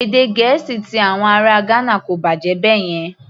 Èdè Gẹ̀ẹ́sì ti àwọn ará Ghana kò bàjẹ́ báyẹn.